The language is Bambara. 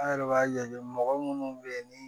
An yɛrɛ b'a ye mɔgɔ minnu bɛ yen ni